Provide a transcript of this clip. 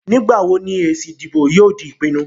Nígbà wo ni èsì ìdìbò yóò di ìpinnu?